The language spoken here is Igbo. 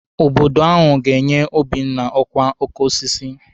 Obodo ahụ ga-enye Obinna ọkwa oke osisi.